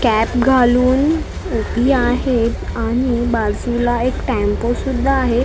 cap घालून उभी आहे आणि बाजूला एक टेम्पो सुध्दा आहे टे--